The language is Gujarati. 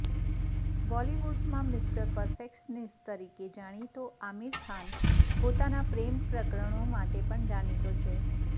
બોલિવૂડમાં મિસ્ટર પરફેક્શનિસ્ટ તરીકે જાણીતો આમિર ખાન પોતાનાં પ્રેમ પ્રકરણો માટે પણ જાણીતો છે